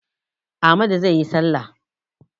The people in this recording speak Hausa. Amadu zai yi salla.